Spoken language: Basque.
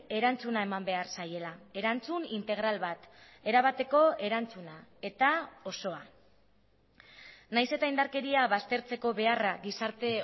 erantzuna eman behar zaiela erantzun integral bat erabateko erantzuna eta osoa nahiz eta indarkeria baztertzeko beharra gizarte